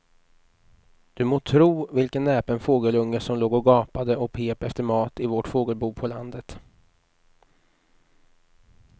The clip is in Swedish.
Du må tro vilken näpen fågelunge som låg och gapade och pep efter mat i vårt fågelbo på landet.